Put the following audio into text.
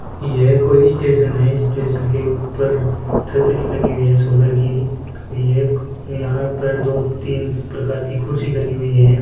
यह कोई स्टेशन है स्टेशन के ऊपर छतरी लगी हुई है सोलर की और ये एक यहां पर दो तीन प्रकार की कुर्सी लगी हुई है।